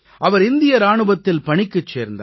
அவர் இந்திய இராணுவத்தில் பணிக்குச் சேர்ந்தார்